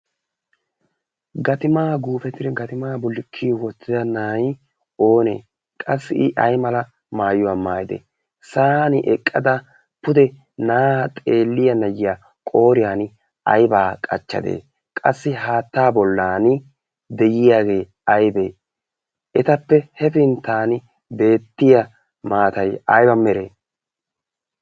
gatimaa guufeti gatimaa bulikkiyo wottida naai oonee qassi i aiymala maayuwaa maayidee sa'an eqqada pude naaa xeelliya nayiya qooriyan aybaa qachchadee qassi haattaa bollan deyiyaagee aybee etappe hefinttan deettiya maatai aiba meree?